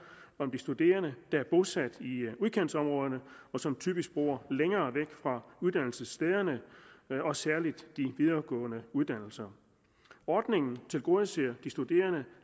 om de studerende der er bosat i udkantsområderne og som typisk bor længere væk fra uddannelsesstederne særlig de videregående uddannelser ordningen tilgodeser de studerende